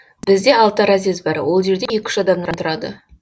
бізде алты разъезд бар ол жерде екі үш адамнан тұрады